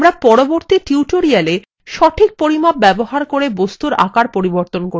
আমরা পরবর্তী tutorialswe সঠিক পরিমাপ ব্যবহার বস্তুর আকার পরিবর্তন করতে শিখব